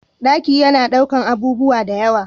Ɗaki yana ɗaukan abubuwa dayawa